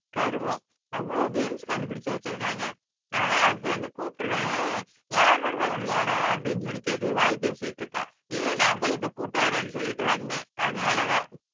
கருமம் அவ்ளோ கேம்ஸ் கண்டுபிடிச்சு வச்சிருக்காங்க. ஆனா அப்ப வந்து கூப்பிடுவேன் யாரு வருவாங்க விளையாட அப்படின்னு சொல்லி கேட்டு வாய் பேசிட்டு இருக்கான் இரு நான் போய் இப்ப கூட்டிட்டு வர்றேன்னு சொல்லிட்டு வந்தேன். அதனாலதான்